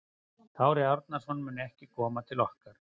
Kári Árnason mun ekki koma til okkar.